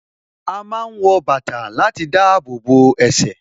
A máa ń wọ bàtà láti dábòbò ẹsẹ̀